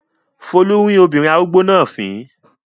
Folú rín obìnrin arúgbó náà fìn-ín.